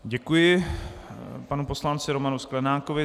Děkuji panu poslanci Romanu Sklenákovi.